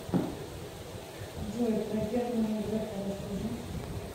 джой про германа грефа расскажи